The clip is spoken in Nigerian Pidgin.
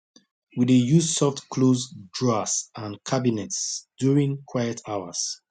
we dey use softclose drawers and cabinets during quiet hours